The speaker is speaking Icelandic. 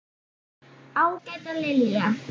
Ágæta Lilja.